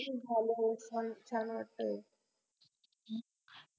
ते झाल्यावर छान छान वाटतय